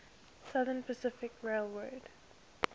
southern pacific railroad